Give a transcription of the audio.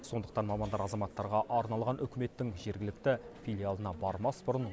сондықтан мамандар азаматтарға арналған үкіметтің жергілікті филиалына бармас бұрын